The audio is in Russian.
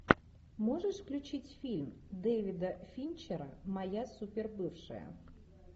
можешь включить фильм дэвида финчера моя супер бывшая